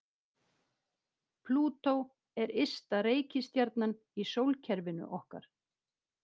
Plútó er ysta reikistjarnan í sólkerfinu okkar.